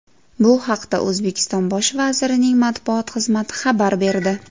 Bu haqda O‘zbekiston bosh vazirining matbuot xizmati xabar berdi .